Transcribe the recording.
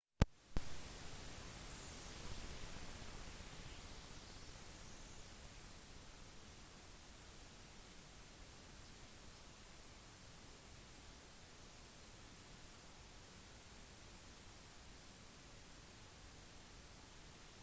gropen er enten oppvarmet med varme steiner fra et bål mens andre steder har geotermisk varme som gjør områder i bakken naturlig varme